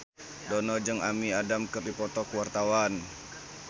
Dono jeung Amy Adams keur dipoto ku wartawan